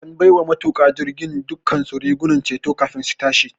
An bai wa matuƙan jirgin dukkansu rigunan ceto kafin su tashi.